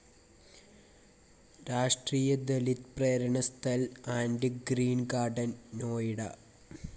രാഷ്ട്രീയ Dalit Prerna Sthal and green garden, Noida